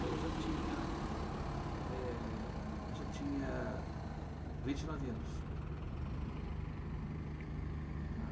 Aí eu já tinha é... Eu já tinha vinte e nove anos. Uhum